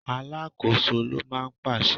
Alákòóso ló máa ń pàṣẹ.